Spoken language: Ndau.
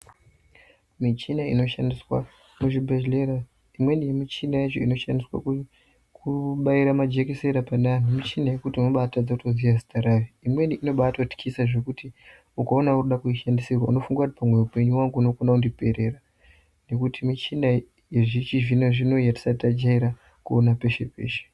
Michini inoshandiswa muzvibhehlera imweni yemichiniyacho inoshandiswa kubaira majekiseni paneantu mishina yekuti unobaa atotadza kuziya zita rayo imweni yacho inoba atotyisa zvekuti ukaona irikuda kuishandisirwa unofunga kuti pamwe upenyu hwangu hunogona kundiperera nekuti michina yechizvinozvino yatisati tajaira kuona peshe peshe.